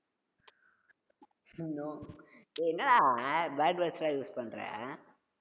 no டேய் என்னடா bad words லாம் use பண்ற